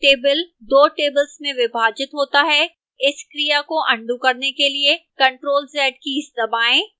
table 2 tables में विभाजित होता है इस क्रिया को अन्डू करने के लिए ctrl + z कीज़ दबाएं